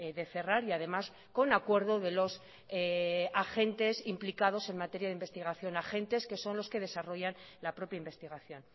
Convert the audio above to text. de cerrar y además con acuerdo de los agentes implicados en materia de investigación agentes que son los que desarrollan la propia investigación